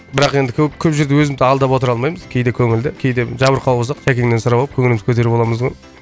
бірақ енді көп көп жерде өзімді алдап отыра алмаймыз кезде көңілді кейде жабырқау болсақ жәкеңнен сұрап алып көңілімізді көтеріп аламыз ғой